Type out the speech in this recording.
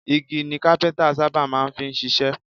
Igi ni Kápẹ́ńtà sábà máa ń fi ṣiṣẹ́.